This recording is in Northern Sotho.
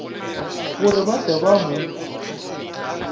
gore ba tle ba mo